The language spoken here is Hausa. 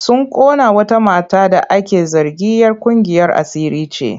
Sun ƙona wata mata da ake zargin'yar ƙungiyar asiri ce.